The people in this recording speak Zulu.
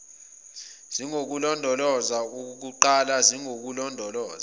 zingukulondoloza okukuqala zingululondoloza